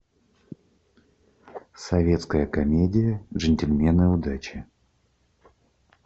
советская комедия джентльмены удачи